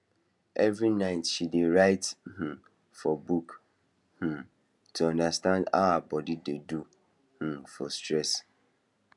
every night she dey write um for book um to understand how her body dey do um for stress